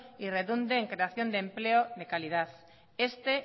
y redunde en creación de empleo de calidad este